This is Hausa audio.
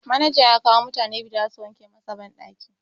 Manajan ya kawo mutane biyu da zasu wanke masa banɗakin.